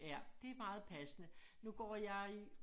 Ja det meget passende nu går jeg i